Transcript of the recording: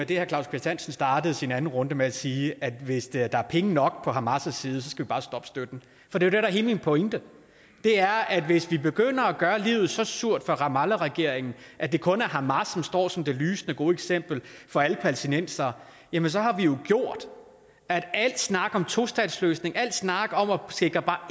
det herre claus kvist hansen startede sin anden runde med at sige nemlig at hvis der er penge nok på hamas side så skal vi bare stoppe støtten for det der er hele min pointe er at hvis vi begynder at gøre livet så surt for ramallahregeringen at det kun er hamas der står som det lysende gode eksempel for alle palæstinensere jamen så har vi jo gjort at al snak om tostatsløsning al snak om at sikre bare